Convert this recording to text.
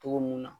Togo mun na